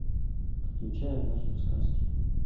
включай однажды в сказке